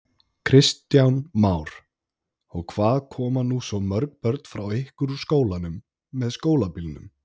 Kristján Már: Og hvað koma nú svo mörg börn frá ykkur úr skólanum með skólabílnum?